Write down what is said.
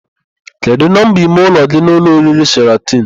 Kedụ nọmba ime ụlọ gị n'ụlọ oriri Sheratịn?